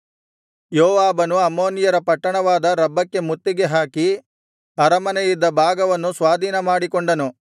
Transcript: ಯೋವಾಬನು ಅಮ್ಮೋನಿಯರ ಪಟ್ಟಣವಾದ ರಬ್ಬಕ್ಕೆ ಮುತ್ತಿಗೆ ಹಾಕಿ ಅರಮನೆಯಿದ್ದ ಭಾಗವನ್ನು ಸ್ವಾಧೀನಮಾಡಿಕೊಂಡನು